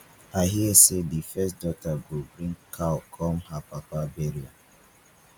i hear say the first daughter go bring cow come her papa burial